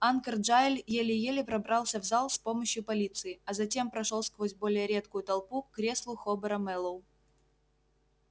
анкор джаэль еле-еле пробрался в зал с помощью полиции а затем прошёл сквозь более редкую толпу к креслу хобера мэллоу